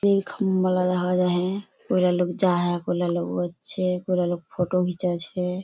ये खम्भा लगा रहे हेय पूरा लोग जाय हेय पूरा लोग पूरा लोग फोटो घीचे छै।